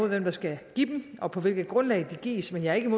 hvem der skal give dem og på hvilket grundlag de gives men jeg er ikke